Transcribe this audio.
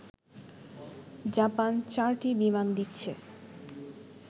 Japan চারটি বিমান দিচ্ছে